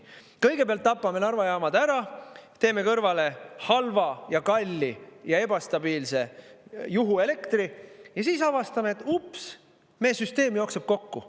Kõigepealt tapame Narva jaamad ära, teeme kõrvale halva ja kalli ja ebastabiilse juhuelektri ja siis avastame, et ups meie süsteem jookseb kokku.